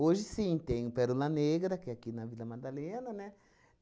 sim, tem o Pérola Negra, que é aqui na Vila Madalena, né?